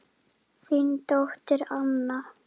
Þín dóttir Anna.